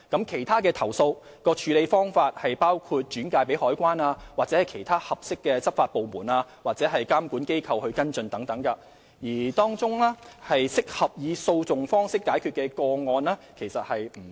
其他處理投訴的方法包括轉介香港海關或其他合適的執法部門及監管機構跟進，而當中適合以訴訟方式解決的個案其實不多。